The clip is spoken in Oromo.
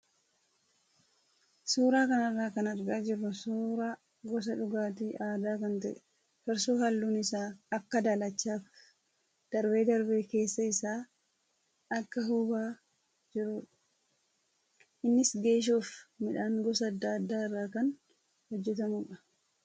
Suuraa kanarraa kan argaa jirru suuraa gosa dhugaatii aadaa kan ta'e farsoo halluun isaa akka daalachaa fi darbee darbee keessa isaa akka huubaa jirudha. Innis geeshoo fi midhaan gosa adda addaa irraa kan hojjatamudha.